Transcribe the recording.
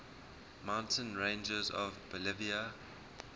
mountain ranges of bolivia